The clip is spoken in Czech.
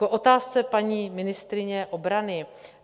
K otázce paní ministryně obrany.